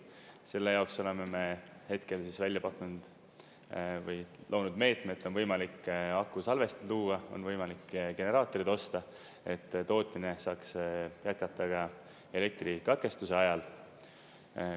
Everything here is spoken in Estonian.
Selle jaoks oleme me hetkel välja pakkunud või loonud meetme, et on võimalik akusalvesti luua, on võimalike generaatorid osta, et tootmine saaks jätkuda ka elektrikatkestuse ajal.